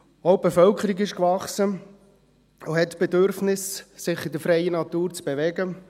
Auch die Bevölkerung ist gewachsen und hat das Bedürfnis, sich in der freien Natur zu bewegen.